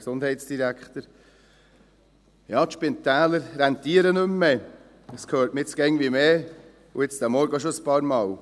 Das hört man jetzt immer öfter, und auch heute Morgen hörte man das bereits ein paarmal.